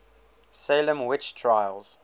salem witch trials